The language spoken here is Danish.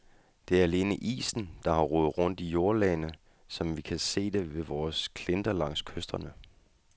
Det er alene isen, der har rodet rundt i jordlagene, som vi kan se det ved vore klinter langs kysterne.